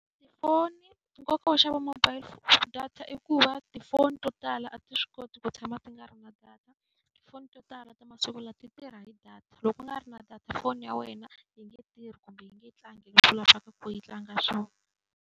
Tifoni nkoka wo xava mobile data i ku va tifoni to tala a ti swi koti ku tshama ti nga ri na data. Tifoni to tala ta masiku lama ti tirha hi data, loko ku nga ri na data foni ya wena a yi nge tirhi kumbe yi nge tlangi leswi u lavaka ku yi tlanga swona.